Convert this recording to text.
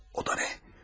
O da nə?